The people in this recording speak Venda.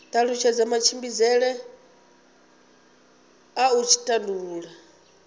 talutshedza matshimbidzele a u tandulula